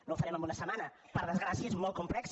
no ho farem en una setmana per desgracia és molt complex